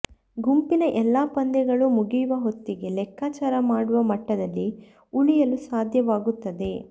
ಗುಂಪಿನ ಎಲ್ಲ ಪಂದ್ಯಗಳು ಮುಗಿಯುವ ಹೊತ್ತಿಗೆ ಲೆಕ್ಕಾಚಾರ ಮಾಡುವ ಮಟ್ಟದಲ್ಲಿ ಉಳಿಯಲು ಸಾಧ್ಯವಾಗುತ್ತದೆ